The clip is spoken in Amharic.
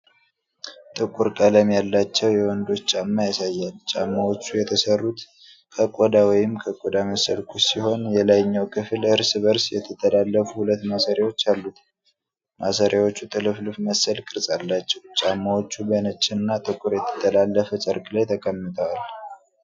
ጥቁር ቀለም ያላቸው የወንዶች ጫማ ያሳያል። ጫማዎቹ የተሰሩት ከቆዳ ወይም ከቆዳ መሰል ቁስ ሲሆን፣ የላይኛው ክፍል እርስ በእርስ የተጠላለፉ ሁለት ማሰሪያዎች አሉት። ማሰሪያዎቹ ጥልፍልፍ መሰል ቅርፅ አላቸው። ጫማዎቹ በነጭና ጥቁር የተጠላለፈ ጨርቅ ላይ ተቀምጠዋል።